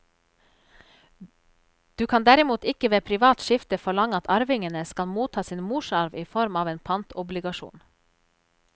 Du kan derimot ikke ved privat skifte forlange at arvingene skal motta sin morsarv i form av en pantobligasjon.